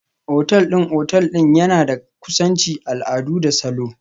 Otal ɗin otal ɗin yana da kusanci, al'adu da salo.